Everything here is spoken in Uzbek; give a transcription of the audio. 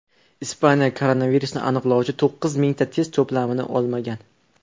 Ispaniya koronavirusni aniqlovchi to‘qqiz mingta test to‘plamini olmagan.